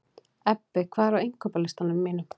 Ebbi, hvað er á innkaupalistanum mínum?